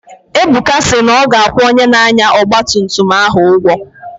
Ebuka si na ọ ga-akwụ onye na-anya ọgba tum tum ahụ ụgwọ